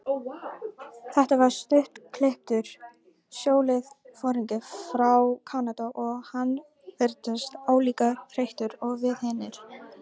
Þetta var stuttklipptur sjóliðsforingi frá Kanada og hann virtist álíka þreyttur og við hinir.